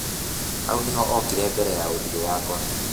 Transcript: Hau nĩho okire mbere ya ũthiũ wakwa.